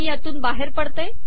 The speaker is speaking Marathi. मी यातून बाहेर पडते